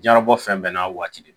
Jiɲɛna bɔ fɛn bɛɛ n'a waati de don